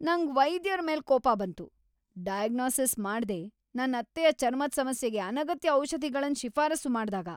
ನಂಗ್ ವೈದ್ಯರ್ ಮೇಲೆ ಕೋಪ ಬಂತು. ಡೈಗೊನಿಸಿಸ್ ಮಾಡ್ದೆ ನನ್ ಅತ್ತೆಯ ಚರ್ಮದ್ ಸಮಸ್ಯೆಗೆ ಅನಗತ್ಯ ಔಷಧಿಗಳನ್ ಶಿಫಾರಸು ಮಾಡ್ದಾಗ